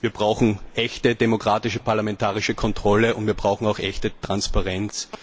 Wir brauchen echte demokratische parlamentarische Kontrolle, und wir brauchen auch echte Transparenz.